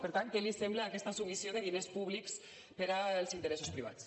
per tant què li sembla aquesta submissió de diners públics per als interessos privats